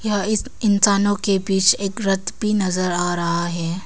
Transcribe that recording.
यहां इस इंसानों के बीच एक रथ भी नजर आ रहा है।